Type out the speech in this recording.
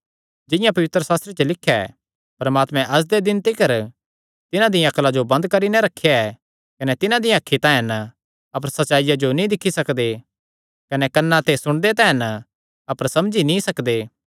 जिंआं पवित्रशास्त्रे च लिख्या ऐ परमात्मैं अज्ज दे दिन तिकर तिन्हां दिया अक्ला जो बंद करी नैं रखेया ऐ कने तिन्हां दियां अखीं तां हन अपर सच्चाईया जो नीं दिक्खी सकदे कने कन्नां ते सुणदे तां हन अपर समझी नीं सकदे